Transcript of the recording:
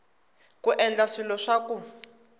ku endla swilo swa ku